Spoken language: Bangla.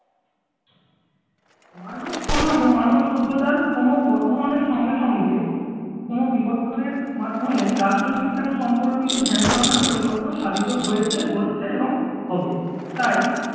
মানব সমাজ ও মানব সভ্যতার ক্রম বর্ধমানের সঙ্গে সঙ্গে কোন ক্রম বিবর্তনের মাধ্যমে রাষ্ট্রবিজ্ঞান সম্পর্কিত ধ্যান-ধারণার পরিবর্তন সাধিত হয়েছে হচ্ছে এবং হবে তাই